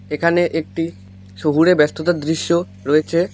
এখানে একটি শহুরে ব্যস্ততার দৃশ্য রয়েছে।